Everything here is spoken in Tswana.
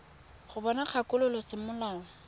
go bona kgakololo ya semolao